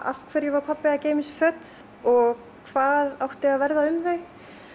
af hverju var pabbi að geyma þessi föt og hvað átti að verða um þau